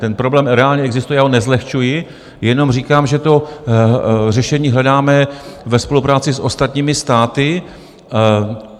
Ten problém reálně existuje, já ho nezlehčuji, jenom říkám, že to řešení hledáme ve spolupráci s ostatními státy.